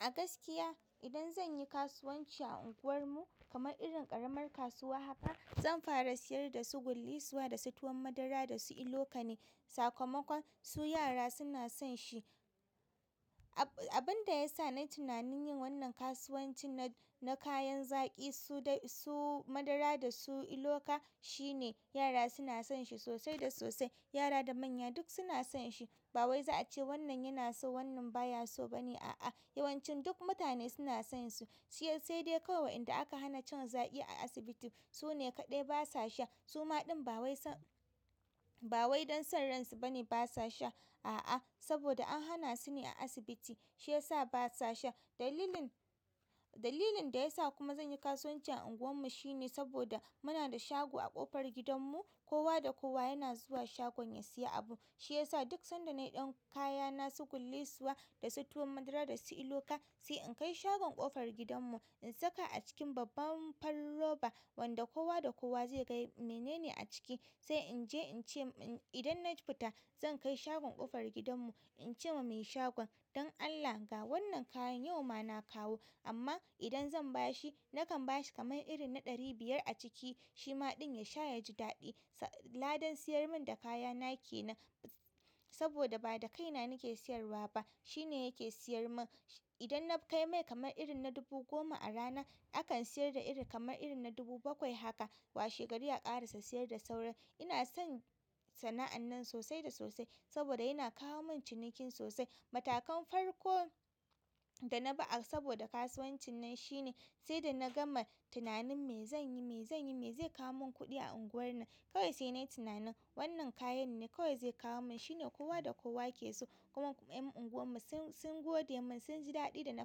A gaskiya idan zan yi kasuwanci a unguwarmu kamar irin ƙaramar kasuwa haka, zan fara siyar dasu gullisuwa da su tuwan madara da su ilo ka ne. Sakamakon su yara suna son shi. Ab-abinda ya sa nai tunanin yin wannan kasuwancin na-na kayan zaki su dai su madara da su ilo ka shine yara suna son shi sosai da sosai. Yara da manya duk suna son shi. Ba wai za a ce wannan yana so wannan baya so ba ne, a'a. Yawancin duk mutane suna sayen su. Shiya sai dai kawai wa inda aka hana cin zaƙi a asibiti. Su ne kaɗai basa sha. Su maɗin ba wai son, ba wai don son ransu ba ne basa sha. A'a saboda an hana su ne a asibiti shi ya sa basa sha. Dalilin, dalilin da ya sa kuma zan yi kasuwancin a unguwarmu shine saboda muna da shago a ƙofar gidanmu. Kowa da kowa yana zuwa shagon ya siya abu. Shi ya sa duk sanda nayi ɗan kaya na su gullisuwa da su tuwan madara da su ilo ka, sai in kai shagon ƙofar gidanmu. In saka a cikin babban farin roba wanda kowa da kowa zai ga mene ne a ciki. Sai inje ince in idan na fita zan kai shagon ƙofar gidan mu in ce wa mai shagon, "don Allah ga wannan kayan yau ma na kawo amma idan zan ba shi nakan ba shi kamar irin na ɗari biyar a ciki." Shi ma ɗin ya sha ya ji daɗi. Sa, ladan siyar min da kaya na ke nan saboda ba da kaina nake siyarwa ba. Shi ne yake siyar min. Idan na kai mai kamar irin na dubu goma a rana, akan siyar da iri kamar irin na dubu bakwai haka. Washegari aka ƙarasa siyar da sauran. Ina son sana'an nan sosai da sosai saboda yana kawo min cinikin sosai. Matakan farko da na bi a saboda kasuwancin nan shine, sai da na gama tunanin me zan yi, me zan yi, me zai kawo mun kuɗi a unguwar nan. Kawai sai na yi tunanin wannan kayan ne kawai zai kawo mun. Shi ne kowa da kowa ke so. Kuma ƴan unguwarmu sun, sun gode mun sun ji daɗi da na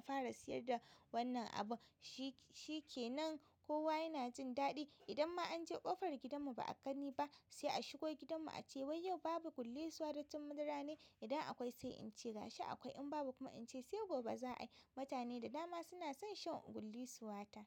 fara siyar da wannan abu. Shi, shi ke nan kowa yana jin daɗi. Idan ma an je ƙofar gidanmu ba a gani ba, sai a shigo gidanmu a ce wai yau babu gullisuwa da tuwon madara ne? Idan akwai sai ince gashi akwai in in babu kuma in ce sai gobe za'ai. Mutane da dama suna son shan gullisuwata.